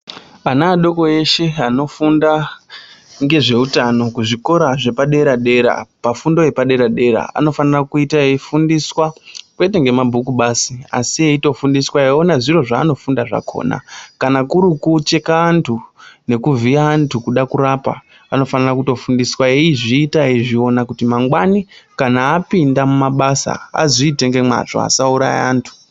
Ana adoko eshe, anofunda ngezvewutano kuzvikora zvepadera dera, pafundo yepadera dera, anofanira kuyita eyifundiswa kwete ngemabhuku bazi, asi eyitofundiswa eyiwona zviro zvanofunda zvakhona. Kana kurukucheka antu nekuvhiya antu kuda kurapa, vanofanira kutofundiswa eyizvita eyiwona kuti mangwani kana apinda mumabasa, azvite ngemazvo asawuraya antu.